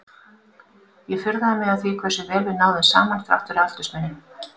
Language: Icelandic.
Ég furðaði mig á því hversu vel við náðum saman þrátt fyrir aldursmuninn.